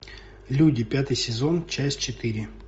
люди пятый сезон часть четыре